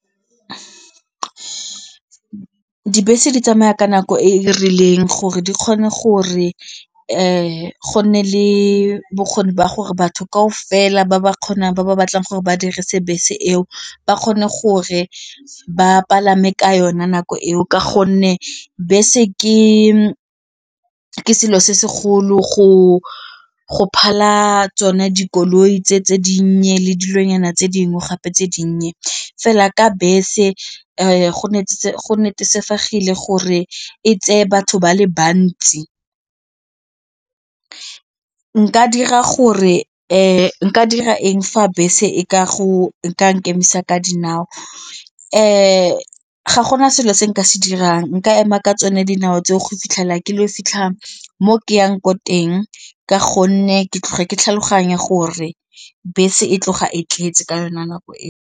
Dibese di tsamaya ka nako e e rileng gore di kgone gore go nne le bokgoni ba gore batho kao fela ba ba kgonang ba ba batlang gore ba dirise bese eo ba kgone gore ba palame ka yone nako eo ka gonne bese ke ke selo se segolo go phala tsone dikoloi tse tse dinnye le dilonyana tse dingwe gape tse dinnye fela ka bese gore e tseye batho ba le bantsi nka dira gore nka dira eng fa bese e ka go nka nkemisa ka dinao? Ga gona selo se nka se dirang, nka ema ka tsone dinao tseo go fitlhela ke le ko fitlhang mo ke yang ko teng ka gonne ke tle ke tlhaloganya gore bese e tloga e tletse ka yone nako eo.